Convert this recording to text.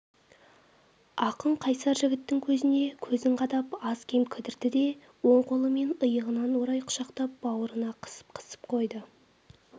ақын қайсар жігіттің көзіне көзін қадап аз-кем кідірді де оң қолымен иығынан орай құшақтап бауырына қысып-қысып қойды